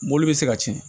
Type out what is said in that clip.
Mobili bɛ se ka ci